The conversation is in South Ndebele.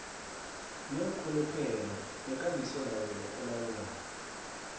neenrhuluphelo nekambisolawulo elawula